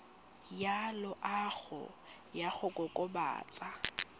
ya loago ya go kokobatsa